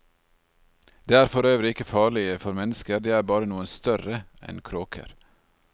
De er for øvrig ikke farlige for mennesker, de er bare noe større enn kråker.